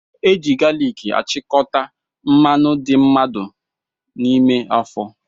Eji galiki achikọta mmanụ dị mmadụ n'ime afọ